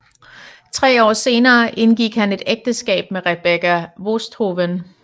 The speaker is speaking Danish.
Tre år senere indgik han et ægteskab med Rebecca Woesthoven